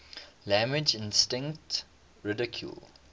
language instinct ridiculed